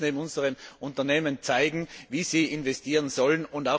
Aber wir müssen unseren Unternehmen zeigen, wie sie investieren sollen.